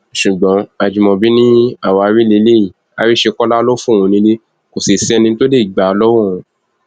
ṣùgbọn ajimobi ni àwáwí lélẹyìí àríṣekọlá ló fóun nílé kò sì sẹni tó lè gbà á lọwọ òun